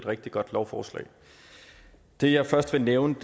rigtig godt lovforslag det jeg først vil nævne